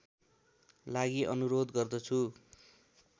लागि अनुरोध गर्दछु